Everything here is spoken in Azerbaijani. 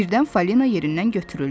Birdən Falina yerindən götürüldü.